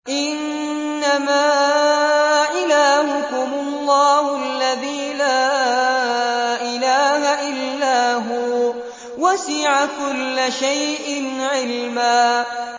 إِنَّمَا إِلَٰهُكُمُ اللَّهُ الَّذِي لَا إِلَٰهَ إِلَّا هُوَ ۚ وَسِعَ كُلَّ شَيْءٍ عِلْمًا